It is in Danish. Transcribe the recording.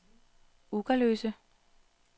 Ugerløse